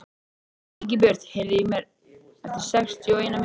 Ingibjört, heyrðu í mér eftir sextíu og eina mínútur.